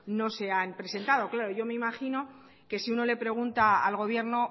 no se han presentado yo me imagino que si uno le pregunta al gobierno